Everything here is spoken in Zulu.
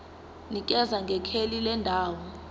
nikeza ngekheli lendawo